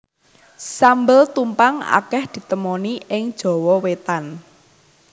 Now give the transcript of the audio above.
Sambel tumpang akeh ditemoni ing Jawa Wétan